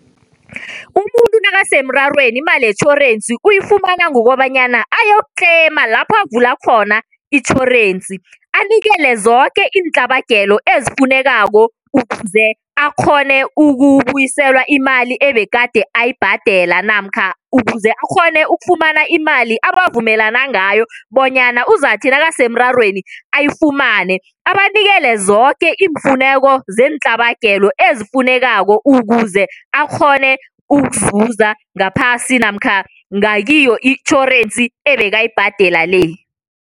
Umuntu nakasemrarweni imali yetjhorensi uyikufama ngokobana ayokutlema lapho avula khona itjhorensi. Anikele zoke iintlhabagelo ezifunekako ukuze akgone ukubuyiselwa imali egade ayibhadela, namkha ukuze akghone ukufumana imali abavumelana ngayo bonyana uzakuthi nakasemrarweni ayifumane. Abanikele zoke iimfuneko zeentlhabagelo ezifunekako ukuze akghone ukuzuza ngaphasi namkha kiyo itjhorensi ebekayibhadela le.